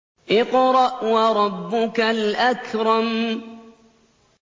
اقْرَأْ وَرَبُّكَ الْأَكْرَمُ